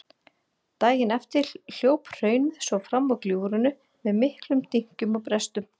Daginn eftir hljóp hraunið svo fram úr gljúfrinu með miklum dynkjum og brestum.